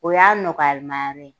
O y'a nɔgɔyalima yɔrɔ ye